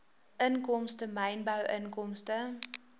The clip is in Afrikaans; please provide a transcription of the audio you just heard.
inkomste mynbou inkomste